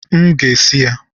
M ga-esi ya